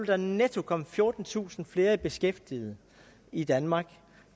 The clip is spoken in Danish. der netto komme fjortentusind flere i beskæftigelse i danmark